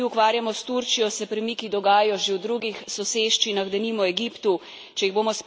In medtem ko se mi ukvarjamo s Turčijo, se premiki dogajajo že v drugih soseščinah, denimo Egiptu.